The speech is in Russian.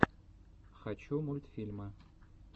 хочу мультфильмы